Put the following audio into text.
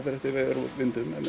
eftir veðri og vindum en